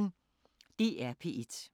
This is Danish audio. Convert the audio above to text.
DR P1